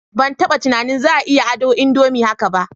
Ban taba tunanin za a iya ado indomie haka ba